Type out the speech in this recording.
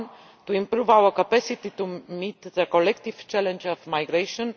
1 to improve our capacity to meet the collective challenge of migration